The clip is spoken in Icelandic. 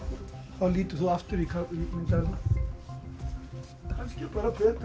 þá lítur þú aftur í myndavélina kannski bara betra